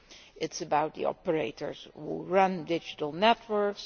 It is about the operators who run digital networks.